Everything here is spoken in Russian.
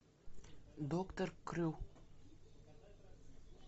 доктор крю